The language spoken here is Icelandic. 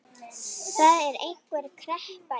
Það er einhver kreppa í